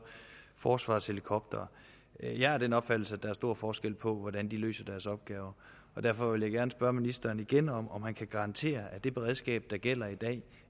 forsvarets helikoptere jeg er af den opfattelse at der er stor forskel på hvordan de løser deres opgaver derfor vil jeg gerne spørge ministeren igen om om han kan garantere at det beredskab der gælder i dag